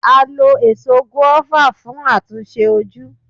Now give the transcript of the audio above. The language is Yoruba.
A lo Èso gùáfà fún àtúnṣe ojú.